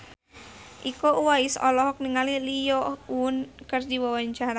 Iko Uwais olohok ningali Lee Yo Won keur diwawancara